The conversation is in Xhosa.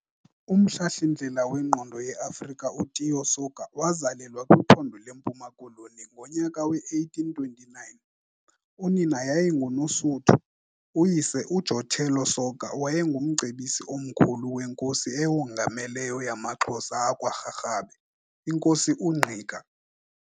Umhlahlindlela wengqondi yeAfrika uTiyo Soga wazalelwa kwiphondo leMpuma Koloni ngonyaka we-1829. Unina yayinguNosuthu, uyise, uJotello Soga wayengumcebisi omkhulu weNkosi eyongameleyo yamaXhosa akwa Rharhabe, iNkosi uNgqika.